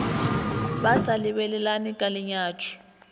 ba sa lebelelane ka lenyatšo